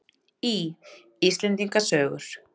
Í: Íslendinga sögur.